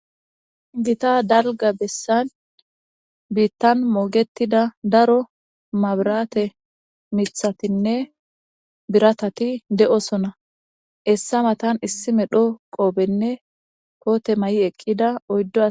Gita dalga bessan biittan mogetida daro mabrate mithatinne biratati de'osona essa matan issi medho qoobenne poote may'i eqqida oyddo